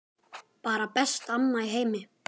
Bara besta amma í heimi.